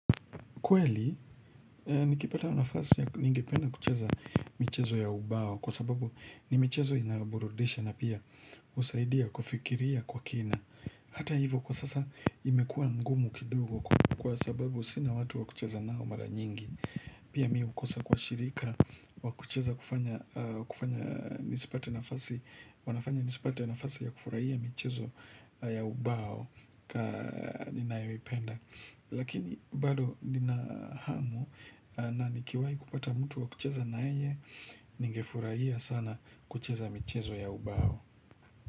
Kweli nikipata nafasi ya ningependa kucheza michezo ya ubao kwa sababu ni michezo inayoburudisha na pia husaidia kufikiria kwa kina Hata hivo kwa sasa imekua ngumu kidogo kwa sababu sina watu wa kucheza nao mara nyingi Pia mi hukosa kwa shirika wa kucheza kufanya nisipate nafasi ya kufurahia michezo ya ubao kwa ninayoipenda Lakini bado nina hamu na nikiwai kupata mtu wa kucheza na yeye Ningefuraia sana kucheza michezo ya ubao.